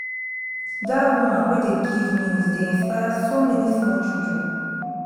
dat woman wey dey give news dey inspire so many small children